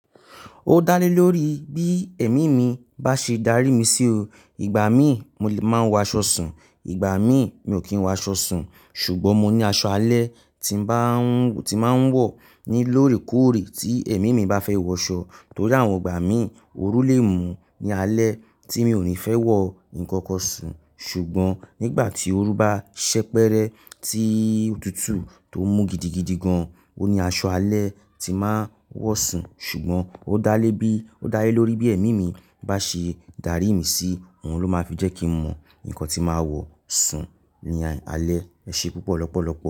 Ó dá lé lórí bí ẹ̀mí mi bá ṣe darí mi sí o. Ìgbà mi mò le máa n wọ aṣọ sùn, ìgbà mi mi ò kí ń wọ aṣọ sùn. Ṣùgbọ́n mo ní aṣọ alẹ́ tí n ba- ti máa ń wọ̀ ni lóòrèkóòrè tí ẹ̀mí mi bá fẹ́ wọ̀ aṣọ. Torí àwọn ìgbà mi òru lé mú ní alẹ́ tí mi ò ní fẹ́ wọ ǹkankan sùn. Ṣùgbọ́n nígbà tí òru bá ṣẹ́pẹ́rẹ́ tí òtútù tó mú gidigidi gan, ó ní aṣọ alẹ́ tí máa wọ̀ sùn. Ṣùgbọ́n ó dá lé bí, ó dá lé lórí bí ẹ̀mí mi bá ṣe darí mi sí, òun ló máa fi jẹ́ kí mọ nǹkan tí màá wọ̀ sùn ní alẹ́. Ẹ ṣe púpọ̀ lọ́pọ̀lọ́pọ̀.